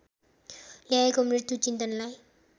ल्याएको मृत्यु चिन्तनलाई